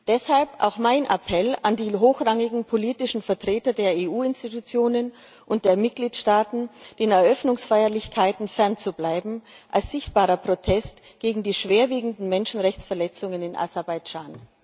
Deshalb auch mein Appell an die hochrangigen politischen Vertreter der EU Institutionen und der Mitgliedstaaten, den Eröffnungsfeierlichkeiten als sichtbarer Protest gegen die schwerwiegenden Menschenrechtsverletzungen in Aserbaidschan